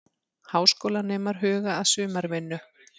Háskólanemar huga að sumarvinnu